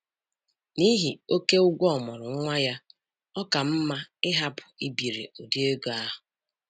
N'ihi oke ụgwọ ọmụrụ nwa ya, ọ ka mma ịhapụ ibiri ụdị ego ahụ.